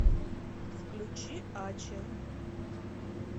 включи ачи